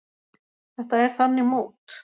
Þetta er þannig mót.